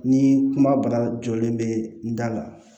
Ni kuma bana jɔlen bɛ n da la